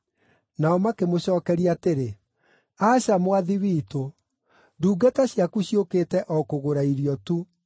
Nao makĩmũcookeria atĩrĩ, “Aca, mwathi witũ! Ndungata ciaku ciũkĩte o kũgũra irio tu.